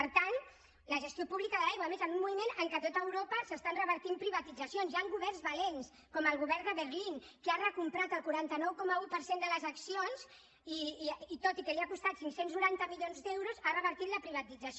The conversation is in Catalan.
per tant la gestió pública de l’aigua a més en un moment en què a tot europa s’estan revertint privatitzacions hi han governs valents com el govern de berlín que ha recomprat el quaranta nou coma un per cent de les accions i tot i que li ha costat cinc cents i noranta milions d’euros ha revertit la privatització